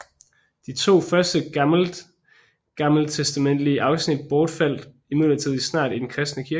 De to første gammeltestamentlige afsnit bortfaldt imidlertid snart i den kristne kirke